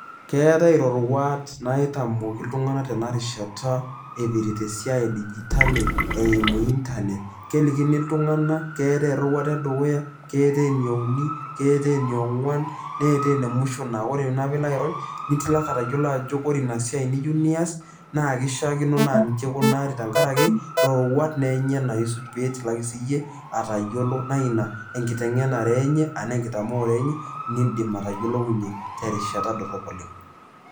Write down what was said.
Keetai iroruat naitamoki iltung'anak tena rishata epirta esiai e CS[digital]CS eimu CS[Internet]CS kelikini iltung'anak keetai eroruata e dukuya keetai eneuni keetai ene ongwaan neetae enemwisho naa ore peyiee ilo airony niyolo ajo ore esia niyieu nias naa kishaakino naa inji ikunari roruat enyena naa isuj pee itilaki siyie atayiolo naa ina enkiteng'enare enye arashu enkitamoore niin'dim atayiolounye terishata dorrop oleng'.